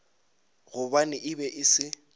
gobane e be e se